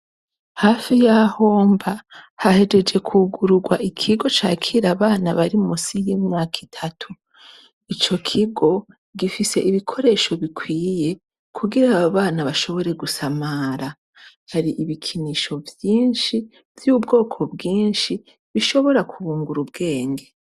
Hafi y'aho mba hahejeje kwugururwa ikigo c'akira abana bari munsi y'imyaka itatu . Ico kigo gifise ibikoresho bikwiye kugira abana bashobore gusamara ,hari ibikinisho vyinshi vy'ubwoko bwinshi bishobora kubungura ubwenge.